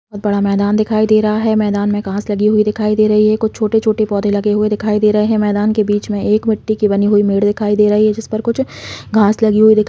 और बड़ा मैदान दिखाई दे रहा है मैदान में घास लगी हुई दिखाई दे रही है कुछ छोटे -छोटे पौधे लगे हुए दिखाई दे रहे है मैदान के बीच एक मिट्टी की बनी हुई जिस पर कुछ घास लगी हुई दिख--